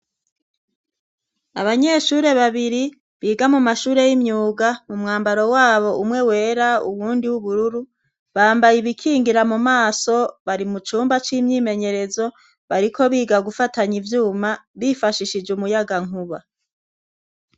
Abanyeshuri babiri biga mu mashure y'imyuga mu mwambaro wabo umwe wera uwundi w'ubururu, bambaye ibikingira mu maso, bari mu cumba c'imyimenyerezo, bariko biga gufatanya ivyuma bifashishije umuyaga nkuba.